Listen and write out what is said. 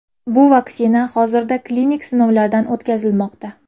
Bu vaksina hozirda klinik sinovlardan o‘tkazilmoqda.